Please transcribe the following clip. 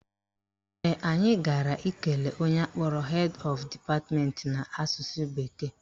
Ee, anyị gara ikele onye akpọrọ Head Of Department n'asụsụ bekee